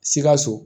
Sikaso